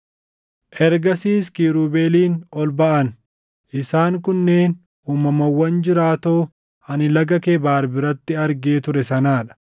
Ergasiis kiirubeeliin ol baʼan; isaan kunneen uumamawwan jiraatoo ani Laga Kebaar biratti argee ture sanaa dha.